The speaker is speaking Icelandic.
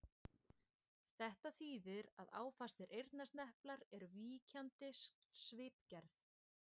Þetta þýðir að áfastir eyrnasneplar eru víkjandi svipgerð.